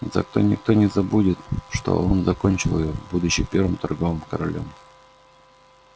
зато никто не забудет что он закончил её будучи первым торговым королём